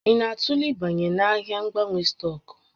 Ị na-atụle ịbanye n'ahịa mgbanwe stọọkụ?